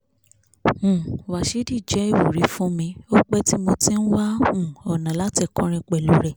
um wíshìdì jẹ́ ìwúrí fún mi o pé tí mo ti ń wá um ọ̀nà láti kọrin pẹ̀lú rẹ̀